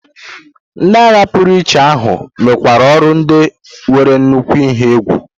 Ndị agha pụrụiche ahụ mekwara ọrụ ndị nwere nnukwu ihe egwu.